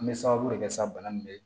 An bɛ sababu de kɛ sa bana min bɛ yen